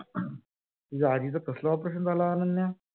तुझ्या आजीच कसल operation झाल आहे अनन्या?